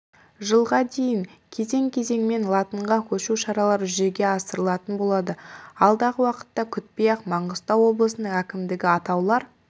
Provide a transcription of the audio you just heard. жылға дейін кезең-кезеңімен латынға көшу шаралары жүзеге асырылатын болады алдағы уақытты күтпей-ақ маңғыстау облысының әкімдігі атаулар